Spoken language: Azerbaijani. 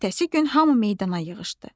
Ertəsi gün hamı meydana yığışdı.